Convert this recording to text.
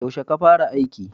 Yaushe ka fara aiki?